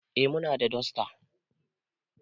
Eh muna da dasta